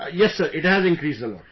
Yes Sir, it has increased a lot